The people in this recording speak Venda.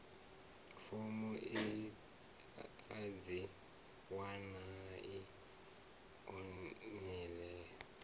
fomo a dzi wanalei online